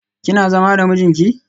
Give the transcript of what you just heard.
Kina zama da mijinki?